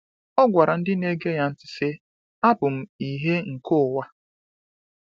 O gwara ndị na-ege ya ntị sị: “Abụ m ìhè nke ụwa.”